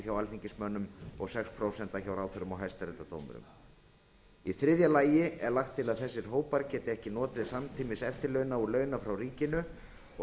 hjá alþingismönnum og sex prósent hjá ráðherrum og hæstaréttardómurum í þriðja lagi er lagt til að þessir hópar geti ekki notið samtímis eftirlauna og launa frá ríkinu og